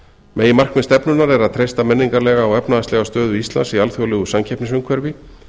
meginmarkmið stefnunnar er að treysta menningarlega og efnahagslega stöðu íslands í alþjóðlegu samkeppnisumhverfi